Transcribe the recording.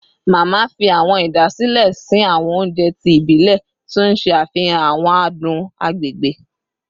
Mama fi awọn idasile sin awọn ounjẹ ti ibilẹ, ti n ṣe afihan awọn adun agbegbe